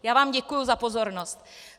Já vám děkuji za pozornost.